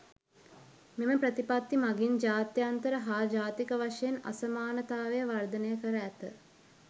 මෙම ප්‍රතිපත්ති මගින් ජාත්‍යන්තර හා ජාතික වශයෙන් අසමානතාවය වර්ධනය කර ඇත.